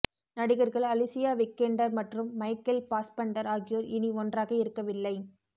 நடிகர்கள் Alicia Vikander மற்றும் Michael Fassbender ஆகியோர் இனி ஒன்றாக இருக்கவில்லை